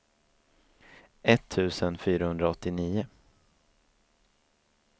etttusen fyrahundraåttionio